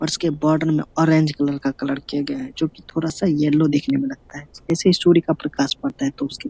और उसके बॉर्डर में ऑरेंज कलर का कलर किया गया है जो की थोड़ा सा येलो दिखने में लगता है जैसे ही सूर्य का प्रकाश पड़ता है तो उसके --